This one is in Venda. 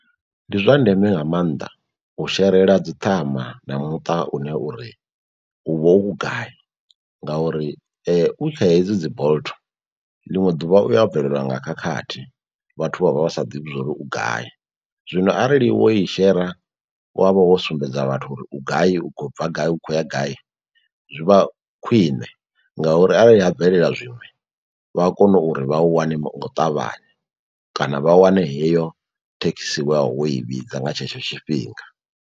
Ndi zwa ndeme nga mannḓa u sherela dzi ṱhama na muṱa une uri u vha u gai ngauri u kha hedzi dzi Bolt ḽiṅwe ḓuvha uya bvelelwa nga khakhathi vhathu vha vha vha sa ḓivhi zwa uri u gai. Zwino arali wo i shera wa vha wo sumbedza vhathu uri u gai, u khou bva gai, u khou ya gai zwi vha khwiṋe ngauri arali ha bvelela zwiṅwe vha a kona uri vha u wane nga u ṱavhanya kana vha wane heyo thekhisi i vhidza nga tshetsho tshifhinga.